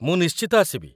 ମୁଁ ନିଶ୍ଚିତ ଆସିବି ।